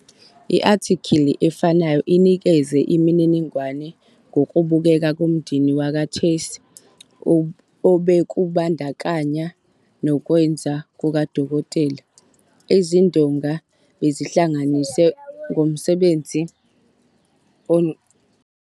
I-athikili efanayo inikeze imininingwane ngokubukeka komndeni wakwaChase obekubandakanya nokwenza kukadokotela- "izindonga bezihlanganiswe ngomsebenzi womyeni kaNkk Chase ongasekho.